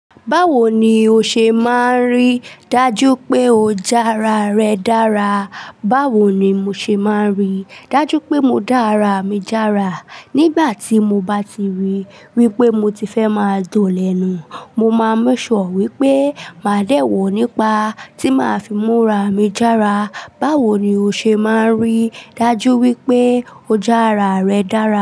Báwo ni o ṣe máa ń rí? Dájú pé o já ara rẹ dára. Báwo ni mo ṣe máa ń rí? Dájú pé mo dá ara mi jára. Nígbà tí mo bá ti rí wípé mo ti fẹ́ máa dọ̀lẹ̀nú, mo máa make sure wípé màá dẹ́ wọ̀ nípa tí màá fi mú ara mi jára. Báwo ni o ṣe máa ń rí? Dájú wípé o já ara rẹ dára.